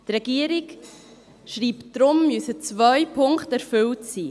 Die Regierung schreibt, deshalb müssten zwei Punkte erfüllt sein.